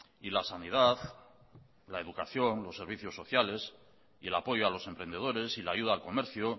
y la sanidad la educación los servicios sociales y el apoyo a los emprendedores y la ayuda al comercio